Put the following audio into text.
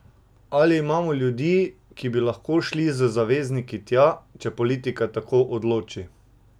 Ali imamo ljudi, ki bi lahko šli z zavezniki tja, če politika tako odloči?